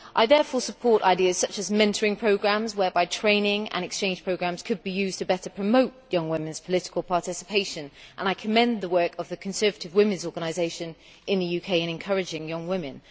I therefore support ideas such as mentoring programmes, whereby training and exchange programmes could be used to better promote young women's political participation and I commend the work of the Conservative Women's Organisation in the UK in encouraging young women.